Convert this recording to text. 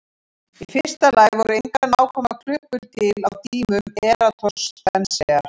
Í fyrsta lagi voru engar nákvæmar klukkur til á tímum Eratosþenesar.